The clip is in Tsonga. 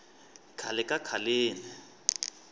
khale ka khaleni